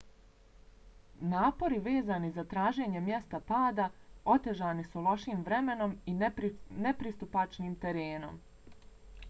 napori vezani za traženje mjesta pada otežani su lošim vremenom i nepristupačnim terenom